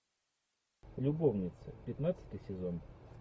любовницы пятнадцатый сезон